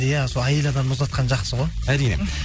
иә сол әйел адам ұзатқан жақсы ғой әрине